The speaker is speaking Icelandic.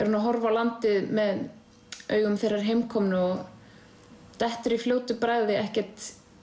hún á landið með augum þeirrar heimkomnu og dettur í fljótu bragði ekkert